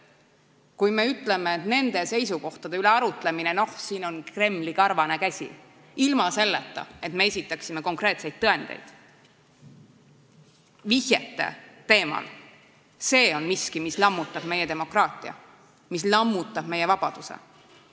Kui me ütleme, et nende seisukohtade üle arutlemisel on mängus Kremli karvane käsi, ilma et me esitaksime konkreetseid tõendeid, teeme vihjeid, siis see on miski, mis lammutab meie demokraatiat, mis lammutab meie vabadust.